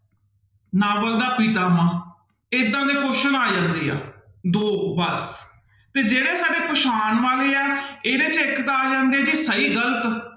novel ਦਾ ਪਿਤਾਮਾ, ਏਦਾਂ ਦੇ question ਆ ਜਾਂਦੇ ਆ ਦੋ ਬਸ, ਤੇ ਜਿਹੜੇ ਸਾਡੇ ਪਛਾਣ ਵਾਲੇ ਹੈ ਇਹਦੇ ਚ ਇੱਕ ਤਾਂ ਆ ਜਾਂਦੇ ਜੀ ਸਹੀ ਗ਼ਲਤ,